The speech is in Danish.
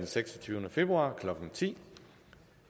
sluttet